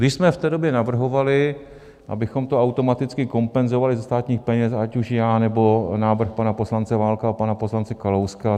My jsme v té době navrhovali, abychom to automaticky kompenzovali ze státních peněz, ať už já, nebo návrh pana poslance Válka a pana poslance Kalouska.